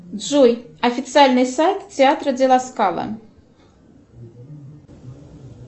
джой официальный сайт театра де ла скала